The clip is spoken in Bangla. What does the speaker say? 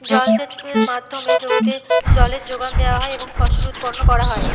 জল সেচ-এর মাধ্যমে জমিতে জলের যোগান দেওয়া হয় এবং ফসল উৎপন্ন করা হয়।